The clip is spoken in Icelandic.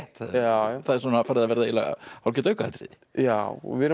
það er hálfgert aukaatriði já við erum að